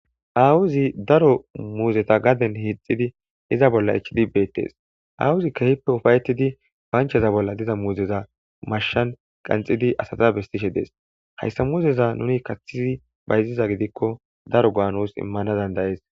awozi daro muuzeta gaden hixidi iza bolla ichchidi beettes awozi kehippe ufayetidi bancheza bolla diza muuzeza mashshan qanxidi asata bestishe dees hayssa muuzeza nuni kaththi bayziza gidikko daro go'a nus immana dandayees